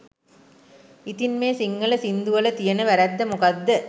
ඉතින් මේ සිංහල සින්දු වලතියෙන වැරැද්ද මොකක්ද?